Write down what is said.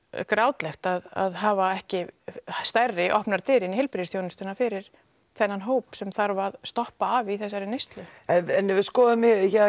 grátlegt að hafa ekki stærri opnar dyr inn í heilbrigðisþjónustuna fyrir þennan hóp sem þarf að stoppa af í þessari neyslu en ef við skoðum